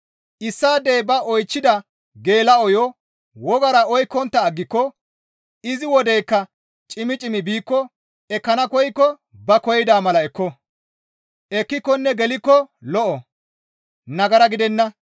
Issaadey ba oychchida geela7oyo wogara oykkontta aggiko izi wodeykka cimmi cimmi biikko ekkana koykko ba koyida mala ekko; ekkikonne gelikko lo7o; nagara gidenna.